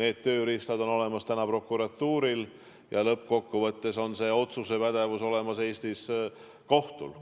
need tööriistad on olemas prokuratuuril ja lõppkokkuvõttes on see otsustuspädevus Eestis kohtul.